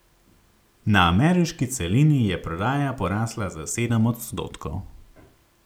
Na ameriški celini je prodaja porasla za sedem odstotkov.